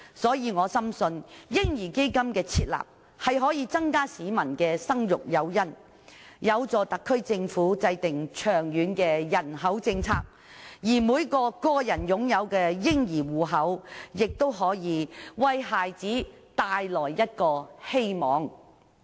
所以，我深信設立"嬰兒基金"，可以增加市民的生育誘因，有助特區政府制訂長遠的人口政策，而每個個人擁有的嬰兒戶口，亦可以為孩子帶來希望。